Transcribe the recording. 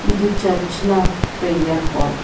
ಇದು ಚರ್ಚ್ನ prayer hall .